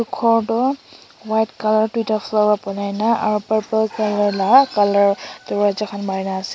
Ghor toh white colour doita floor pra banai na aro purple colour la colour darwaja khan mari na ase.